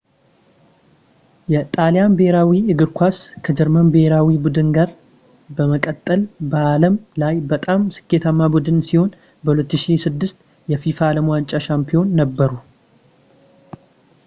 የጣሊያን ብሔራዊ እግር ኳስ ከጀርመን ብሄራዊ ቡድን ጋር በመቀጠል በዓለም ላይ በጣም ስኬታማ ቡድን ሲሆን በ 2006 የፊፋ የዓለም ዋንጫ ሻምፒዮን ነበሩ